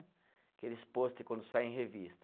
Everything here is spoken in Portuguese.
Aqueles pôster quando sai em revista.